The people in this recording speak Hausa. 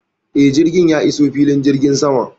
Eh, jirgi ya iso filin jirgin sama.